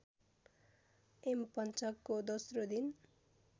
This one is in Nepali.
यमपञ्चकको दोस्रो दिन